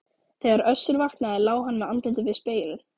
Þegar Össur vaknaði lá hann með andlitið við spegilinn.